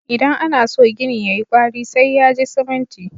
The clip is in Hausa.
Idan ana so gini ya yi ƙwari, sai ya ji siminti.